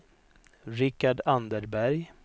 Rikard Anderberg